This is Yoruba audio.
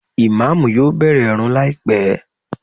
Ìmáàmù yóò bẹ̀rẹ̀ ìrun láìpé